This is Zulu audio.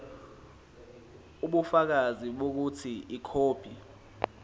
ubufakazi bokuthi ikhophi